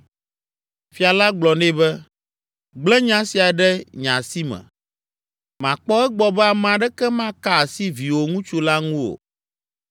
Fia la gblɔ nɛ be, “Gblẽ nya sia ɖe nye asi me; makpɔ egbɔ be ame aɖeke maka asi viwò ŋutsu la ŋu o.”